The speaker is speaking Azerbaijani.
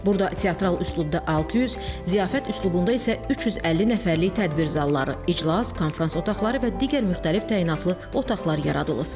Burada teatral üslubda 600, ziyafət üslubunda isə 350 nəfərlik tədbir zalları, iclas, konfrans otaqları və digər müxtəlif təyinatlı otaqlar yaradılıb.